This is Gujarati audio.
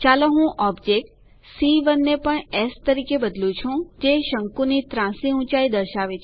ચાલો હું ઓબ્જેક્ટ c 1 ને પણ એસ તરીકે બદલું છે જે શંકુ ની ત્રાંસી ઊંચાઇ દર્શાવે છે